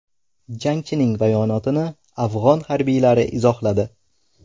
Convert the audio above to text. Jangchining bayonotini afg‘on harbiylari izohladi.